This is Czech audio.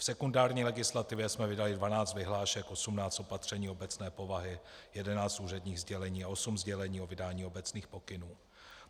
V sekundární legislativě jsme vydali 12 vyhlášek, 18 opatření obecné povahy, 11 úředních sdělení a 8 sdělení o vydání obecných pokynů.